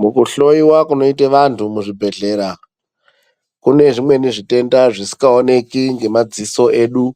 Mukuhloyiwa kunoita vantu muzvibhedhlera kune zvimweni zvitenda zvisikaoneki ngemadziso edu